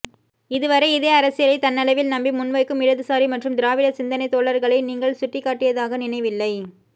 இதுவரை இதே அரசியலைத் தன்னளவில் நம்பி முன்வைக்கும் இடது சாரி மற்றும் திராவிட சிந்தனை தோழர்களை நீங்கள் சுட்டிக்காட்டியதாக நினைவில்லை